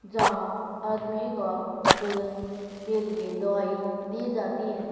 जहाँ आदमी का बजन के लिए दवाई दी जाती हैं।